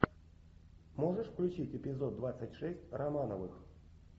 можешь включить эпизод двадцать шесть романовых